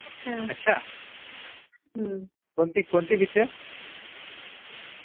अच्छा हम्म कोणती कोणती पिक्चर